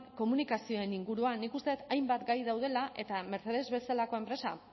komunikazioen inguruan nik uste dut hainbat gai daudela eta mercedes bezalako enpresa